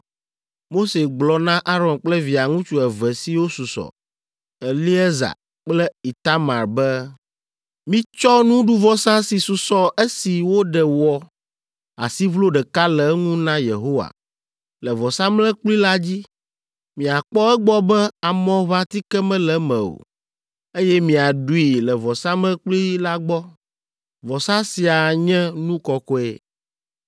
Mose gblɔ na Aron kple Via ŋutsu eve siwo susɔ, Eleaza kple Itamar be, “Mitsɔ nuɖuvɔsa si susɔ esi woɖe wɔ asiʋlo ɖeka le eŋu na Yehowa le vɔsamlekpui la dzi; miakpɔ egbɔ be amɔʋãtike mele eme o, eye miaɖui le vɔsamlekpui la gbɔ. Vɔsa sia nye nu kɔkɔe,